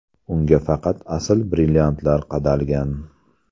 Unga faqat asl brilliantlar qadalgan.